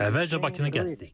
Əvvəlcə Bakını gəzdik.